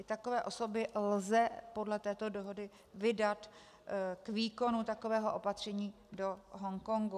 I takové osoby lze podle této dohody vydat k výkonu takového opatření do Hongkongu.